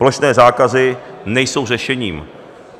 Plošné zákazy nejsou řešením.